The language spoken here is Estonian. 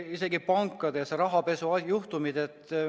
Isegi pankades on rahapesujuhtumid.